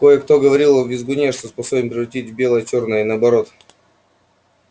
кое-кто говорил о визгуне что способен превратить белое в чёрное и наоборот